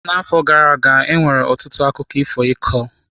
N'afọ gara aga, e nwere ọtụtụ akụkọ ifo ịkọ.